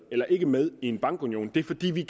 eller ikke med i en bankunion det er fordi vi